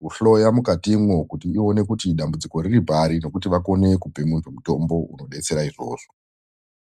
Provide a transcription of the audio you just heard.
kuhloya mukatimwo kuti ione kuti dambudziko riripari nekuti vakone kupe muntu mutombo unodetsera izvozvo.